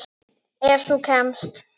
Ef þú kemst?